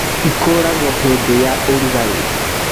Ĩkũragwo hĩndĩ ya ũrugarĩ